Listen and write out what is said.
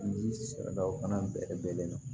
Ji sɛbɛla o fana bɛlen do